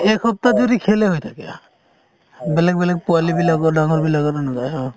এক সপ্তাহ জুৰি খেল এ হৈ থাকে | বেলেগ বেলেগ পোৱালি বিলাকো ডাঙৰ বিলাক